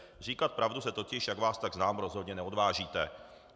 Říkat pravdu se totiž, jak vás tak znám, rozhodně neodvážíte.